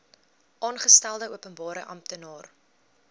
aangestelde openbare amptenaar